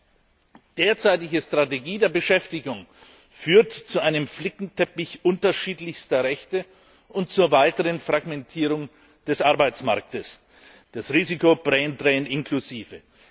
Die derzeitige Strategie der Beschäftigung führt zu einem Flickenteppich unterschiedlichster Rechte und zur weiteren Fragmentierung des Arbeitsmarktes, das Risiko des Braindrain inklusive.